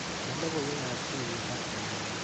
Indee logoiwekap tuiyet ak chemoget.